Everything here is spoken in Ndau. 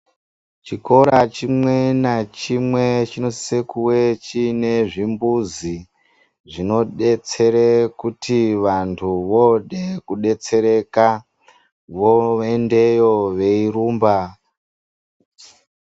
Chikora chimwe nachimwe chinosisa kuwe chiine zvimbuzi. Zvinodetsere kuti vanthu vode kudetsereka voendeyo veirumba.